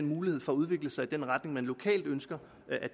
mulighed for at udvikle sig i den retning man lokalt ønsker